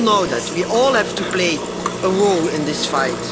We all know that, we all have to play a role in this fight.